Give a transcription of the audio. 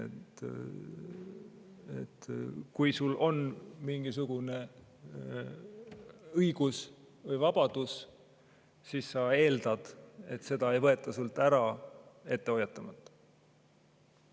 Kui sul on mingisugune õigus või vabadus, siis sa eeldad, et seda ei võeta sult ära ette hoiatamata.